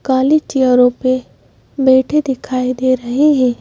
काली चेरो पे बैठे दिखाई दे रहे हैं।